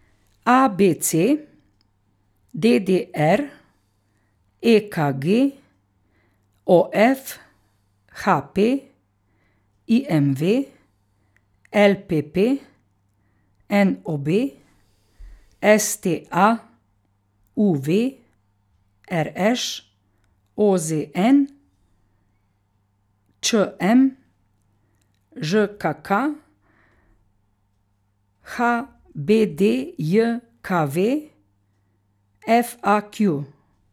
A B C; D D R; E K G; O F; H P; I M V; L P P; N O B; S T A; U V; R Š; O Z N; Č M; Ž K K; H B D J K V; F A Q.